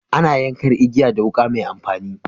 Ana yankan igiya da wuka mai amfani.